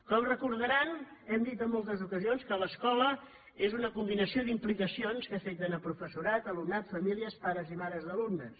com deuen recordar hem dit en moltes ocasions que l’escola és una combinació d’implicacions que afecten professorat alumnat i famílies pares i mares d’alumnes